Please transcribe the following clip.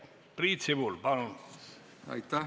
Priit Sibul, palun!